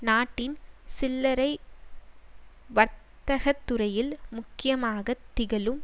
நாட்டின் சில்லரை வர்த்தகத்துறையில் முக்கியமாக திகழும்